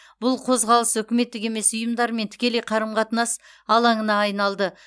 бұл қозғалыс үкіметтік емес ұйымдармен тікелей қарым қатынас алаңына айналды